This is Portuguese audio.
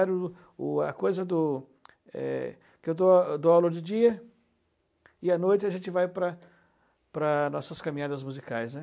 o a coisa do é ... Eu dou eu dou aula de dia e à noite a gente vai para para as nossas caminhadas musicais, né.